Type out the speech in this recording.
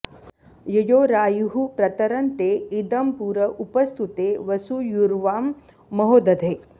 ययोरायुः प्रतरं ते इदं पुर उपस्तुते वसूयुर्वां महो दधे